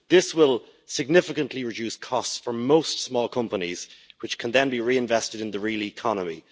This will significantly reduce costs for most small companies, which can then be reinvested in the real economy.